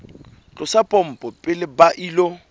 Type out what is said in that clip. tlosa pompo pele ba ilo